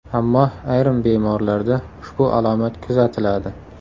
Ammo ayrim bemorlarda ushbu alomat kuzatiladi.